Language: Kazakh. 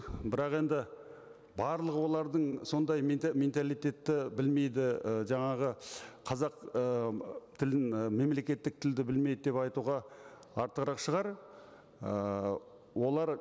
бірақ енді барлығы олардың сондай менталитетті білмейді і жаңағы қазақ ы тілін ы мемлекеттік тілді білмейді деп айтуға артығырақ шығар ыыы олар